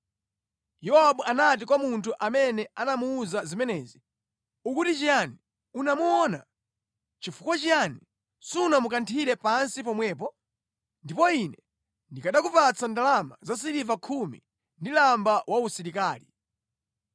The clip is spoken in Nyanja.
Yowabu anati kwa munthu amene anamuwuza zimenezi, “Ukuti chiyani! Unamuona? Nʼchifukwa chiyani sunamukanthire pansi pomwepo? Ndipo ine ndikanakupatsa ndalama za siliva khumi ndi lamba wausilikali.”